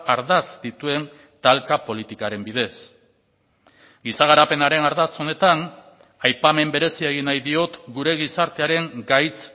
ardatz dituen talka politikaren bidez giza garapenaren ardatz honetan aipamen berezia egin nahi diot gure gizartearen gaitz